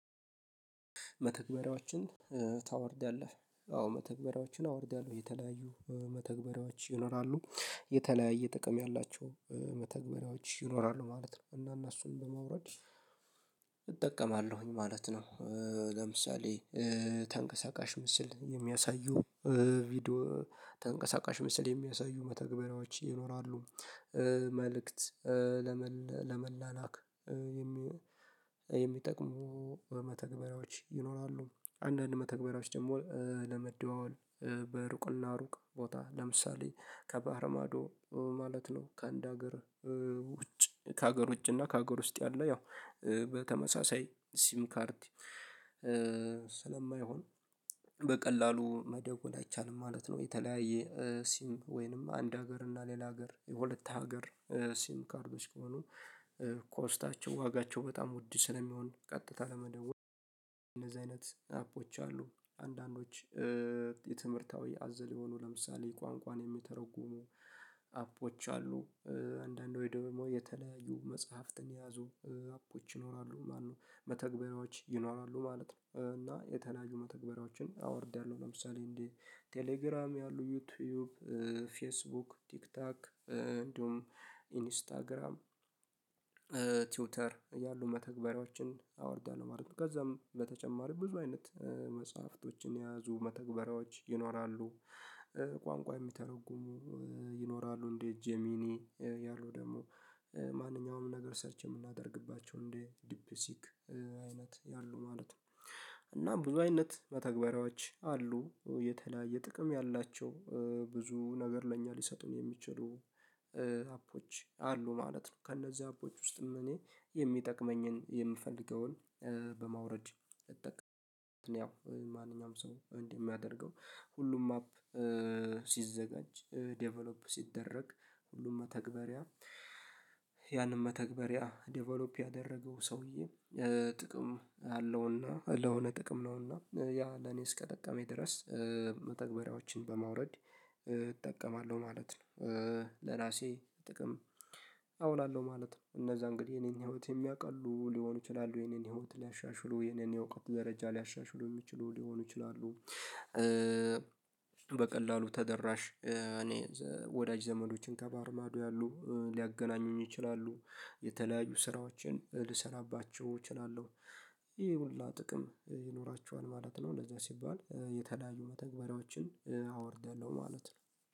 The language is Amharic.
መተግበሪያዎችን ታወርዳለህ አዎ መተግበሪያዎችን አወርዳለሁ የተለያዩ መተግበሪያዎች ይኖራሉ የተለያየ ጥቅም ያላቸው መተግበሪያዎች ይኖራሉ ማለት ነው። እና እነሱን በማውረድ እጠቀማለሁኝ ማለት ነው። ለምሳሌ ተንቀሳቃሽ ምስል የሚያሳዩ ቪዲዮ ተንቀሳቃሽ ምስል የሚያሳዩ መተግበሪያዎች ይኖራሉ። መልእክት ለመላላክ የሚጠቅሙ በመተግበሪያዎች ይኖራሉ አንዳንድ መተግበሪያዎች ደግሞ ለመደዋወል በሩቅ እና ሩቅ ቦታ ለምሳሌ ከባህር ማዶ ማለት ነው ከአንድ ሀገር ውጭ ከሀገር ውጭ እና ከሀገር ውስጥ ያለ ያው በተመሳሳይ ሲም ካርድ ስለማይሆን በቀላሉ መደወል አይቻልም ማለት ነው። የተለያየ ሲም ወይንም አንድ ሀገር እና ሌላ ሀገር የሁለት ሀገር ሲም ካርዶች ከሆኑ ኮስታቸው ዋጋቸው በጣም ውድ ስለሚሆን ቀጥታ ለመደወል እነዚህ አይነት አፖች አሉ አንዳንዶች የትምህርታዊ አዘል የሆኑ ለምሳሌ ቋንቋን የሚተረጉሙ አፖች አሉ። አንዳንድ ወይም ደግሞ የተለያዩ መጽሐፍትን የያዙ አፖች ይኖራሉ ማለት ነው። መተግበሪያዎች ይኖራሉ ማለት ነው እና የተለያዩ መተግበሪያዎችን አወርደያለሁ ለምሳሌ እንዴ ቴሌግራም ያሉ ዩቲዩብ ፌስቡክ ቲክቶክ እንዲሁም ኢንስታግራም ትዊተር ያሉ መተግበሪያዎችን አወርዳለሁ ማለት ነው። ከዛም በተጨማሪ ብዙ አይነት መጽሐፍቶችን የያዙ መተግበሪያዎች ይኖራሉ። ቋንቋ የሚተረጉሙ ይኖራሉ እንደ ጄሚኒ ያሉ ደግሞ ማንኛውም ነገር ሰርች የምናደርግባቸው እንዴ ዲፕሲክ አይነት ያሉ ማለት ነው። እና ብዙ አይነት በተግባሪዎች አሉ የተለያየ ጥቅም ያላቸው ብዙ ነገር ለእኛ ሊሰጡን የሚችሉ አፖች አሉ ማለት ነው። ከእነዚህ አፖች ውስጥም እኔ የሚጠቅመኝን የምፈልገውን በማውረድ እጠቀም ያው ማንኛውም ሰው እንደ ሚያደርገው ሁሉም ማፕ ሲዘጋጅ ዴቨሎፕ ሲደረግ ሁሉም መተግበሪያ ያንን መተግበሪያ ዴቨሎፕ ያደረገው ሰውዬ ጥቅም አለው እና ለሆነ ጥቅም ነውና ያ ለኔ እስከጠቀመኝ ድረስ መተግበሪያዎችን በማውረድ እጠቀማለሁ ማለት ነው። ለራሴ ጥቅም አውላለሁ ማለት ነው። እነዛ እንግዲህ የኔን ህይወት የሚያቃሉ ሊሆኑ ይችላሉ የኔን ህይወት ሊያሻሽሉ የኔን የእውቀት ደረጃ ሊያሻሽሉ የሚችሉ ሊሆኑ ይችላሉ። በቀላሉ ተደራሽ እኔ ወዳጅ ዘመዶችን ከባህር ማዶ ያሉ ሊያገናኙኝ ይችላሉ። የተለያዩ ስራዎችን ልሰራባቸው እችላለሁ ይሄ ሁላ ጥቅም ይኖራችዋል ማለት ነው። ለዛ ሲባል የተለያዩ መተግበሪያዎችን አወርደለሁ ማለት ነው